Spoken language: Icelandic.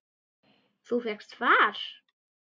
Þú fékkst far?